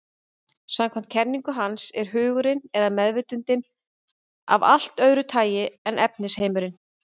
Samkvæmt kenningu hans er hugurinn, eða meðvitundin, af allt öðru tagi en efnisheimurinn.